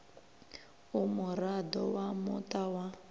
u muraḓo wa muṱa wa